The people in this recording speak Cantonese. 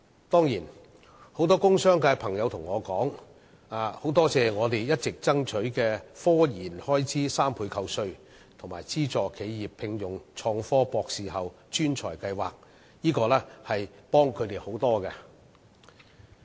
當然，很多工商界朋友也告訴我，說感謝我們一直爭取科研開支3倍扣稅，以及資助企業聘用創科博士後專才的計劃，這些對他們也有很大幫助。